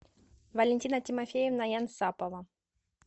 валентина тимофеевна янсапова